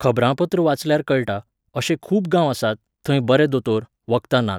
खबरांपत्र वाचल्यार कळटा, अशें खूब गांव आसात, थंय बरे दोतोर, वखदां नात.